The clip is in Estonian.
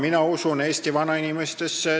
Mina usun Eesti vanainimestesse.